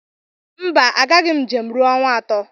Mba, agaghim njem ruo awa atọ.